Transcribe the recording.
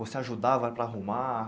Você ajudava para arrumar?